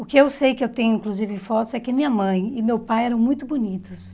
O que eu sei, que eu tenho inclusive fotos, é que minha mãe e meu pai eram muito bonitos.